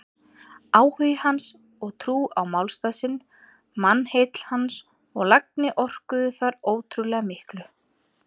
Áhugi hans og trú á málstað sinn, mannheill hans og lagni orkuðu þar ótrúlega miklu.